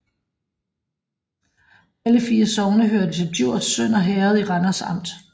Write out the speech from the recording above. Alle 4 sogne hørte til Djurs Sønder Herred i Randers Amt